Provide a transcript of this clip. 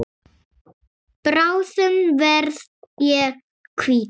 Bráðum verð ég hvítur.